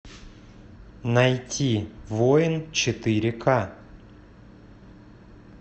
найти воин четыре к